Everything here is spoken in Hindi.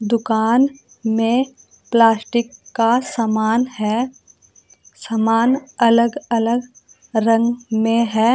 दुकान में प्लास्टिक का समान है सामान अलग अलग रंग में है।